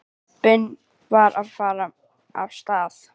Jeppinn var að fara af stað.